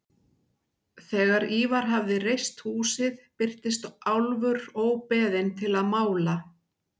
Þegar Ívar hafði reist húsið birtist Álfur óbeðinn til að mála.